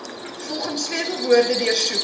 volgens sleutelwoorde deursoek